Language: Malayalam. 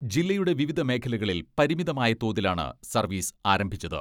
ജില്ലയുടെ വിവിധ മേഖലകളിൽ പരിമിതമായ തോതിലാണ് സർവീസ് ആരംഭിച്ചത്.